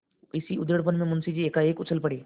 इसी उधेड़बुन में मुंशी जी एकाएक उछल पड़े